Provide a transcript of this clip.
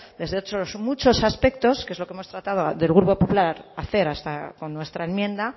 desde otros muchos aspectos que es lo que hemos tratado del grupo popular hacer con nuestra enmienda